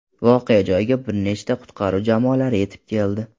Voqea joyiga bir nechta qutqaruv jamoalari yetib keldi.